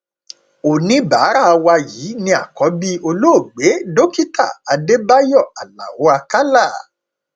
oníbàárà wa yìí ni àkọbí olóògbé dókítà adébáyò aláọ àkàlà